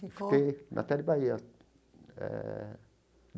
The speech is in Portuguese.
Fiquei na Tele Bahia eh.